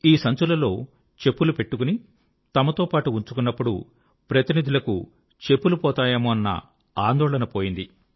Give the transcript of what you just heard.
ఈ సంచులలో చెప్పులు పెట్టుకొని తమతో పాటు ఉంచుకున్నప్పుడు ప్రతినిధులకు చెప్పులు పోతాయేమోనన్న ఆందోళణ పోయింది